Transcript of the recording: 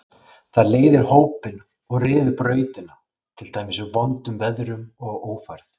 Það leiðir hópinn og ryður brautina, til dæmis í vondum veðrum og ófærð.